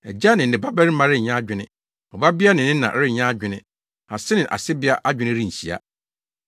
Agya ne ne babarima renyɛ adwene, ɔbabea ne ne na renyɛ adwene, ase ne asebea adwene renhyia.”